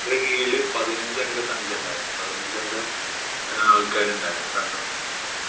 director ഉടെ കീഴില് പതിനഞ്ച് അംഗ സംഖ്യയുണ്ടായിരുന്നു. പതിനഞ്ച് അംഗ ആള്‍ക്കാരുണ്ടായിരുന്നു സംഘം.